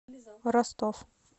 ростов